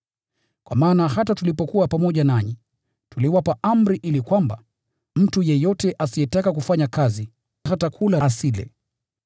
Kwa maana hata tulipokuwa pamoja nanyi, tuliwapa amri kwamba: “Mtu yeyote asiyetaka kufanya kazi, hata kula asile.”